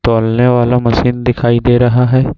तौलने वाला मशीन दिखाई दे रहा है।